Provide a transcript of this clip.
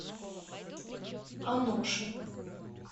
аношина